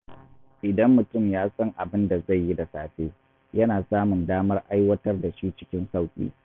Idan mutum ya san abin da zai yi da safe, yana samun damar aiwatar da shi cikin sauƙi.